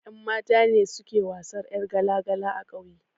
Ƴan mata ne suke wasan ƴar gala gala a ƙauye